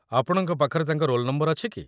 ଆପଣଙ୍କ ପାଖରେ ତାଙ୍କ ରୋଲ୍ ନମ୍ବର ଅଛି କି?